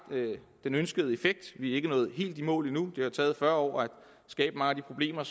den ønskede effekt vi er ikke nået helt i mål endnu det har taget fyrre år at skabe mange af de problemer